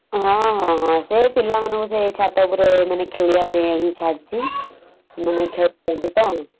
ହଁ ହଁ ହଁ ସେଇ ପିଲାମାନଙ୍କୁ ସେଇ ଛାତ ଉପରେ ମାନେ ଖେଳିବା ପେଇଁ ଛାଡିଚି । ଲୁଡୁ ଖେଳ ଚାଲିଚି ତ ।